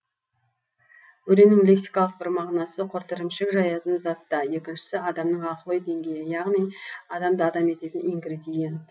өренің лексикалық бір мағынасы құрт ірімшік жаятын зат та екіншісі адамның ақыл ой деңгейі яғни адамды адам ететін ингредиент